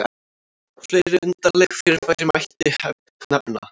fleiri undarleg fyrirbæri mætti nefna